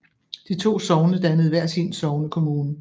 De to sogne dannede hver sin sognekommune